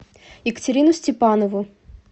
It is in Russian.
екатерину степанову